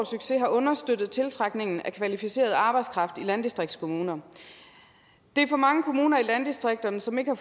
succes har understøttet tiltrækningen af kvalificeret arbejdskraft i landdistriktskommuner der er for mange kommuner i landdistrikterne som ikke har